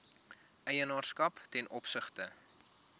eienaarskap ten opsigte